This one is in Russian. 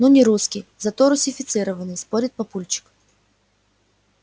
ну не русский зато русифицированный спорит папульчик